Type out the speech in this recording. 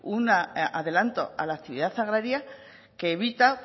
un adelanto a la actividad agraria que evita